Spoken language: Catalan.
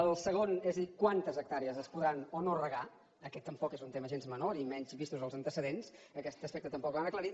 el segon és dir quantes hectàrees es podran o no regar aquest tampoc és un tema gens menor i menys vistos els antecedents aquest aspecte tampoc l’han aclarit